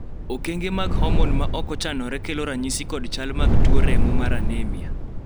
okenge mag homon ma ok ochanore kelo ranyisi kod chal mag tu remo mar anemia